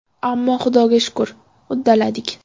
Ammo Xudoga shukur, uddaladik.